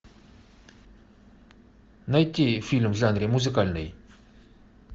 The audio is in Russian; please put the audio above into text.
найти фильм в жанре музыкальный